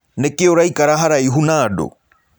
Nĩkĩ ũraĩkara haraĩhũ na andũ?